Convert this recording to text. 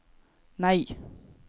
nei